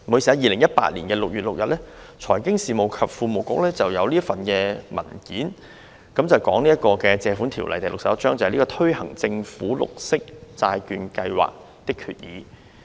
在2018年6月6日，財經事務及庫務局曾發出一份文件，題為"《借款條例》推行政府綠色債券計劃的決議"。